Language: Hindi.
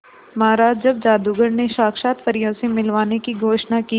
महाराज जब जादूगर ने साक्षात परियों से मिलवाने की घोषणा की